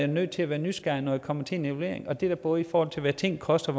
nødt til at være nysgerrig når det kommer til en evaluering det er da både i forhold til hvad ting koster